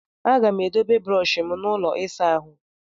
Aga m edobe brọshi m n'ụlọ ịsa ahụ.